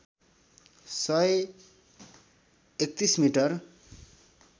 सय ३१ मिटर